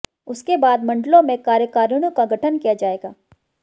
उसके बाद मंडलों में कार्यकारिणियों का गठन किया जाएगा